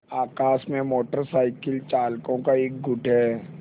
आकाश में motorcycle चालकों का एक गुट है